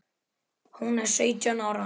Hún er sautján ára.